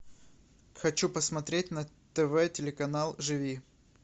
хочу посмотреть на тв телеканал живи